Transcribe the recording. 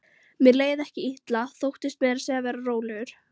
Mér leið ekki illa, þóttist meira að segja vera rólegur.